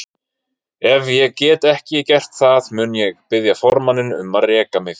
Ef ég get ekki gert það mun ég biðja formanninn um að reka mig.